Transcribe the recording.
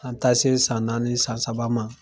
An ye ta se san naani ni san saba ma